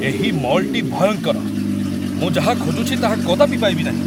ଏହି ମଲ୍‌ଟି ଭୟଙ୍କର। ମୁଁ ଯାହା ଖୋଜୁଛି ତାହା କଦାପି ପାଇବି ନାହିଁ।